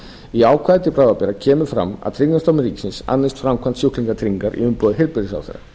í ákvæði til bráðabirgða kemur fram að tryggingastofnun ríkisins annist framkvæmd sjúklingatryggingar í umboði heilbrigðisráðherra